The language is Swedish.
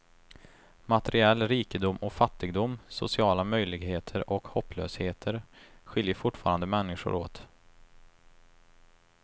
Materiell rikedom och fattigdom, sociala möjligheter och hopplösheter skiljer fortfarande människor åt.